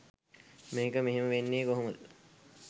මේක මෙහෙම වෙන්නෙ කොහොමද?